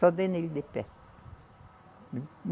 Só dei nele de pé.